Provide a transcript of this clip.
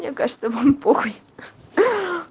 мне кажется чтобы он понял ха-ха